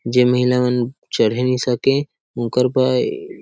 जे महिला मन चढ़े नइ सके ओकर बर --